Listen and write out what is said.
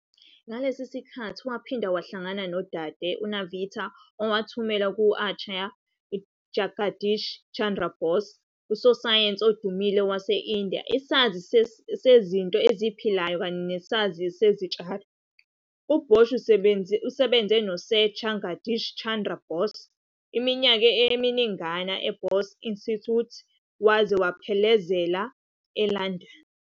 Ngalesi sikhathi waphinde wahlangana noDade Nivedita owamethula ku-Acharya Jagadish Chandra Bose, usosayensi odumile waseNdiya, isazi sezinto eziphilayo kanye nesazi sezitshalo. UBoshi usebenze noSir Jagadish Chandra Bose iminyaka eminingana e- Bose Institute waze wamphelezela eLondon.